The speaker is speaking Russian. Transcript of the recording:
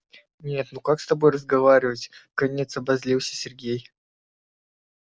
нет ну как с тобой разговаривать вконец обозлился сергей